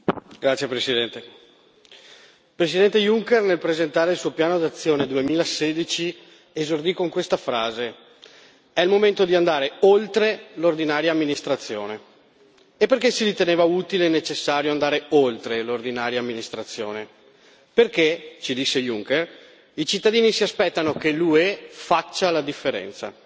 Signor Presidente, onorevoli colleghi, il Presidente Juncker, nel presentare il suo piano d'azione 2016, esordì con questa frase è il momento di andare oltre l'ordinaria amministrazione. E perché si riteneva utile e necessario andare oltre l'ordinaria amministrazione? Perché, ci disse Juncker, i cittadini si aspettano che l'UE faccia la differenza.